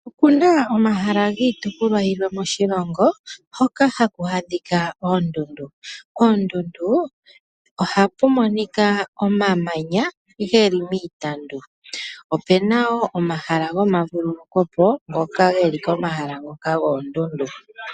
Opu na omahala giitopolwa yimwe moshilongo hoka haku adhika oondundu. Poondundu ohapu monika omamanya ge li miitandu. Opu na wo omahala gomavululuko po ngoka ge li komahala ngoka goondundu.